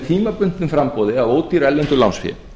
tímabundnu framboði af ódýru erlendu lánsfé